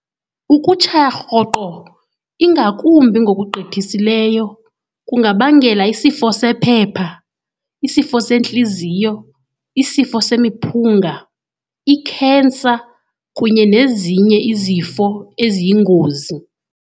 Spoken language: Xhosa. Ukutshaya rhoqo ingakumbi ngokugqithisileyo kungabangela isifo sephepha, isifo sentliziyo, isifo semiphunga, i-cancer kunye nezinye izifo eziyingozi.